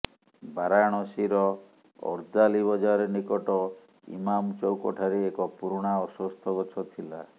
ବାରାଣସୀର ଅର୍ଦାଲୀ ବଜାର ନିକଟ ଇମାମ ଚୌକଠାରେ ଏକ ପୁରୁଣା ଅଶ୍ୱଥ ଗଛ ଥିଲା